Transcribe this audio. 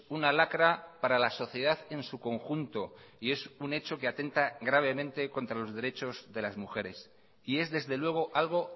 una lacra para la sociedad en su conjunto y es un hecho que atenta gravemente contra los derechos de las mujeres y es desde luego algo